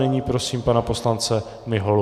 Nyní prosím pana poslance Miholu.